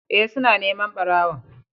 Ee, suna neman ɓarawon.